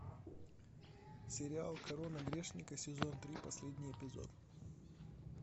сериал корона грешника сезон три последний эпизод